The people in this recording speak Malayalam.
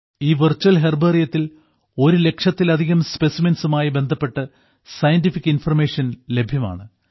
ഈ വെർച്വൽ ഹെർബേറിയത്തിൽ ഒരുലക്ഷത്തിലധികം സ്പെസിമെൻസുമായി ബന്ധപ്പെട്ട് സയന്റിഫിക് ഇൻഫർമേഷൻ ലഭ്യമാണ്